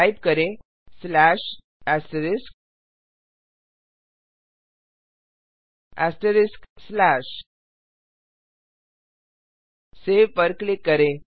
type करें save पर click करें